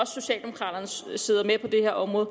socialdemokraterne sidder med på det her område